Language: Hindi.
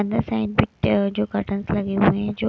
अंदर साइड पे ए जो कर्टनस लगे हुए हैं जो--